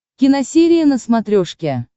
киносерия на смотрешке